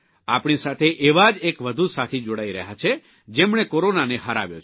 આપણી સાથે એવા જ એક વધુ સાથી જોડાઇ રહ્યા છે જેમણે કોરોનાને હરાવ્યો છે